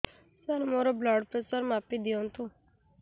ସାର ମୋର blood pressure ମାପି ଦିଅନ୍ତୁ